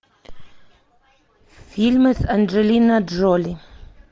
фильмы с анджелина джоли